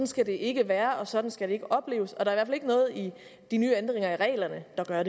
skal det ikke være sådan skal det ikke opleves og der er i ikke noget i de nye ændringer af reglerne der